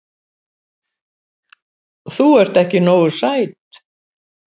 Þú ert ekki nógu sæt.